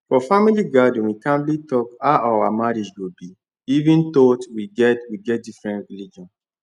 for family gathering we calmly talk how our marriage go be even though we get get different religion